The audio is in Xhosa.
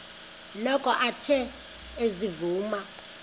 noko athe ezivuma